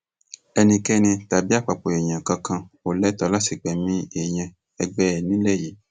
ẹnikẹni tàbí àpapọ èèyàn kankan ò lẹtọọ láti gbẹmí èèyàn ẹgbẹ ẹ nílẹ yìí